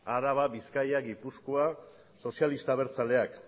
araba bizkaia gipuzkoa sozialistak abertzaleak